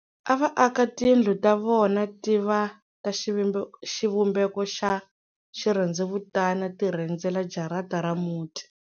A va aka tindlu ta vona ti va ta xivumbeko xa xirhendzevutana ti rhendzela jarata ra muti.